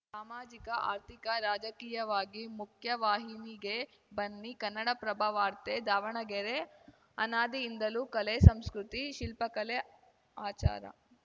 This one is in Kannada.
ಸಾಮಾಜಿಕ ಆರ್ಥಿಕ ರಾಜಕೀಯವಾಗಿ ಮುಖ್ಯವಾಹಿನಿಗೆ ಬನ್ನಿ ಕನ್ನಡಪ್ರಭವಾರ್ತೆ ದಾವಣಗೆರೆ ಅನಾದಿಯಿಂದಲೂ ಕಲೆ ಸಂಸ್ಕೃತಿ ಶಿಲ್ಪಕಲೆ ಆಚಾರ